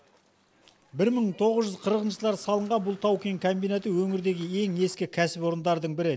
бір мың тоғыз жүз қырқыншы жылдары салынған бұл тау кен комбинаты өңірдегі ең ескі кәсіпорындардың бірі